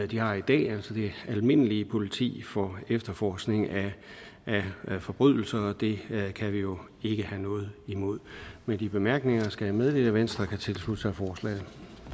de har i dag altså det almindelige politi for efterforskning af forbrydelser og det kan vi jo ikke have noget imod med de bemærkninger skal jeg meddele at venstre kan tilslutte sig forslaget